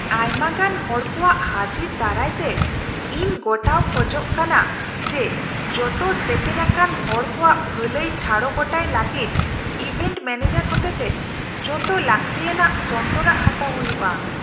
ᱟᱭᱢᱟᱜᱟᱱ ᱦᱚᱲᱠᱚᱣᱟᱜ ᱦᱟᱹᱡᱤᱨ ᱫᱟᱨᱟᱭᱛᱮ, ᱤᱧ ᱜᱚᱴᱟᱣ ᱠᱷᱚᱡᱚᱜ ᱠᱟᱱᱟ ᱡᱮ ᱡᱚᱛᱚ ᱥᱮᱴᱮᱨᱟᱠᱟᱱ ᱦᱚᱲ ᱠᱚᱣᱟᱜ ᱵᱷᱟᱹᱞᱟᱹᱭ ᱴᱷᱟᱲᱚ ᱜᱚᱴᱟᱭ ᱞᱟᱹᱜᱤᱫ ᱤᱵᱷᱮᱱᱴ ᱢᱮᱱᱮᱡᱟᱨ ᱦᱚᱛᱮᱛᱮ ᱡᱚᱛᱚ ᱞᱟᱹᱜᱛᱤᱭᱟᱱᱟᱜ ᱥᱚᱱᱛᱚᱨᱟᱜ ᱦᱟᱛᱟᱣ ᱦᱩᱭᱩᱜᱼᱟ ᱾